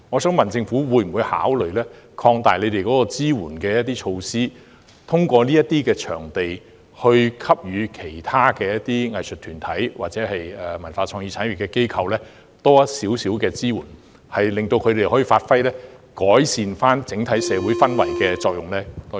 政府會否考慮擴大支援措施，通過這些場地向其他藝術團體或文化創意產業機構提供較多支援，令他們可以發揮改善整體社會氛圍的作用？